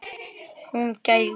Hún gældi.